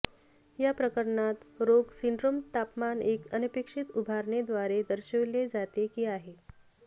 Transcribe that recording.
या प्रकरणात रोग सिंड्रोम तापमान एक अनपेक्षित उभारणे द्वारे दर्शविले जाते की आहे